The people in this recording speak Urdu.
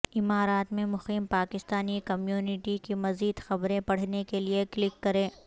امارات میں مقیم پاکستانی کمیونٹی کی مزید خبریں پڑھنے کے لئے کلک کریں